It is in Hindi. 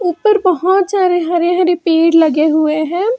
ऊपर बहोत सारे हरे हरे पेड़ लगे हुए है।